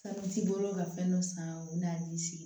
Sanji bolo ka fɛn dɔ san o bɛ n'i sigi